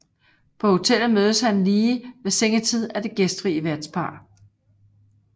På hotellet mødes han lige ved sengetid af det gæstfri værtspar